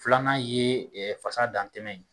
Filanan ye fasa dantɛmɛ ye